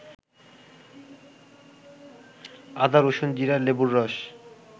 আদা, রসুন, জিরা, লেবুর রস